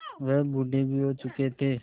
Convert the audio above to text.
वह बूढ़े भी हो चुके थे